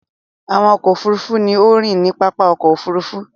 Àwọn ọkọ òfurufú ní a ríi ní pápá ọkọ̀ òfurufú.